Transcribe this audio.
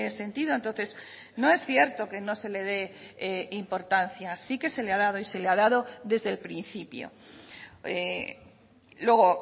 sentido entonces no es cierto que no se le dé importancia sí que se le ha dado y se le ha dado desde el principio luego